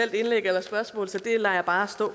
bare